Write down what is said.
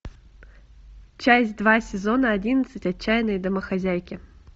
часть два сезона одиннадцать отчаянные домохозяйки